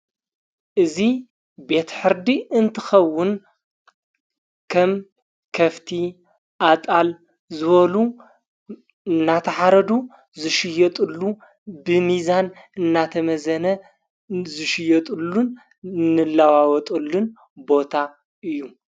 እዙ ቤቲ ሕርዲ እንትኸውን ከም ከፍቲ ኣጣል ዝወሉ እናታ ሓረዱ ዝሽየጡሉ ብሚዛን እናተ መዘነ ዝሽየጡሉን ንለዋወጡሉን ቦታ እዩ።